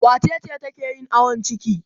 Wace ce take yin awon ciki?